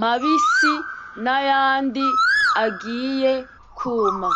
mabisi; n'ayandi agiye kuma.